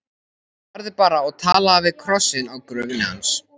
Farðu bara og talaðu við krossinn á gröfinni hans.